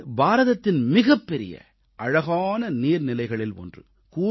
இது பாரதத்தின் மிகப் பெரிய அழகான நீர்நிலைகளில் ஒன்று